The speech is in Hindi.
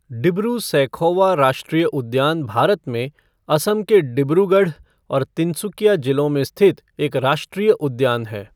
डिब्रू सैखोवा राष्ट्रीय उद्यान भारत में असम के डिब्रूगढ़ और तिनसुकिया जिलों में स्थित एक राष्ट्रीय उद्यान है।